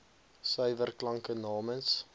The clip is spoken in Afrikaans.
suiwer klanke namens